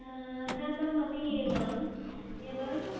হ্যা mam আমি এলাম এবার